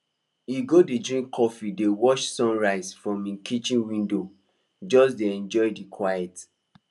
he go dey drink coffee dey watch sunrise from him kitchen window just dey enjoy the quiet